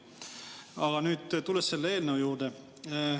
Aga nüüd tulen selle eelnõu juurde.